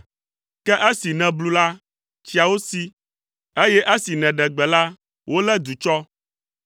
Ke esi nèblu la, tsiawo si, eye esi nèɖe gbe la, wolé du tsɔ.